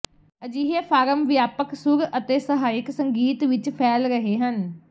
ਅਜਿਹੇ ਫਾਰਮ ਵਿਆਪਕ ਸੁਰ ਅਤੇ ਸਹਾਇਕ ਸੰਗੀਤ ਵਿਚ ਫੈਲ ਰਹੇ ਹਨ